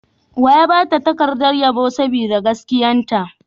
Wa ya ba ta takardar yabo sboda gaskiyarta?